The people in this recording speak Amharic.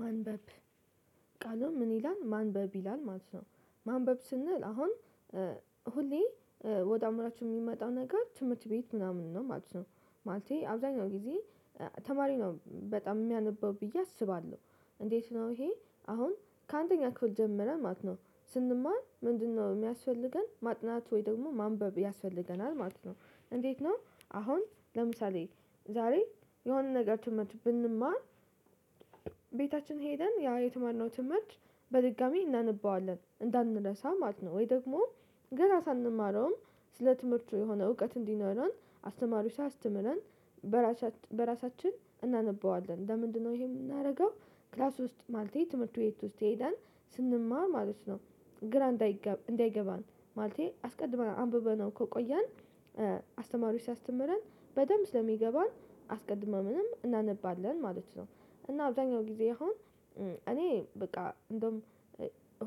ማንበብ ቃለው ምን ይላል ማንበብ ይላል ማለት ነው። ማንበብ ስንል አሁን ሁሌ ወደ አምራችሁ የሚመጣው ነገር ትምህርት ቤት ምናምን ነው ማለት ነው። ማለቴ አብዛኛው ጊዜ ተማሪ ነው በጣም የሚያነበው ብዬ አስባለሁ። እንዴት ነው ይሄ አሁን ከአንደኛ ክፍል ጀምረህ ማለት ነው? ስንማር ምንድነው የሚያስፈልገን ማጥናት ወይ ደግሞ ማንበብ ያስፈልገናል ማለት ነው እንዴት ነው? አሁን ለምሳሌ ዛሬ የሆነ ነገር ትምህርት ብንማር ቤታችን ሄደን ያ የተማርነው ትምህርት በድጋሚ እናነበዋለን እንዳንረሳ ማለት ነው። ወይ ደግሞ ገና ሳንማረውም ስለ ትምህርቱ የሆነ እውቀት እንዲኖረን አስተማሪው ስያስተምረን በራሳችን እናነበዋለን ለምንድነው ይሄ የምናደርገው? ክላስ ውስጥ ማለት ትምህርት ቤት ውስጥ ሄዳን ስንማር ማለት ነው። ግራ እንዳይገባ እንዳይገባን ማለቴ አስቀድማ አንብበነው ከቆየን አስተማሪው ሲያስተምረን በደንብ ስለሚገባን አስቀድመን ምንም እናነባለን ማለት ነው። እና አብዛኛው ጊዜ አሁን እኔ በቃ እንደውም